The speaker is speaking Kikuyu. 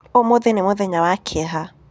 Ũmũthĩ nĩ mũthenya wa kĩeha.